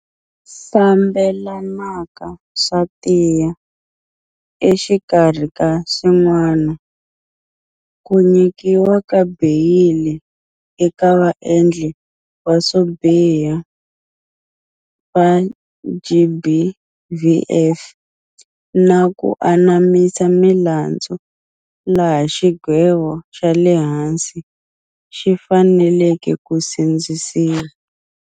Fambelanaka swa tiya, exikarhi ka swin'wana, ku nyikiwa ka beyili eka vaendli va swo biha va GBVF, na ku anamisa milandzu laha xigwevo xale hansi xi faneleke ku sindzisiwa.